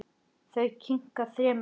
Þau kinka þremur kollum.